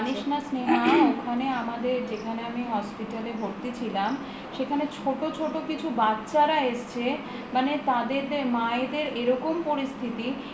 জানিস না স্নেহা ওখানে আমাদের যেখানে আমি hospital এ ভর্তি ছিলাম সেখানে ছোট ছোট কিছু বাচ্ছারা এসছে মানে তাদের মায়েদের এরকম পরিস্থিতি